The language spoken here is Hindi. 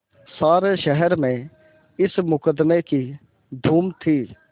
सारे शहर में इस मुकदमें की धूम थी